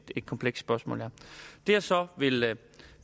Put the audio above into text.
komplekst spørgsmål her det jeg så vil